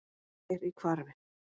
Bær í hvarfi.